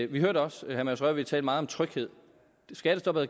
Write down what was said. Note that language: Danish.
vi hørte også herre mads rørvig tale meget om tryghed skattestoppet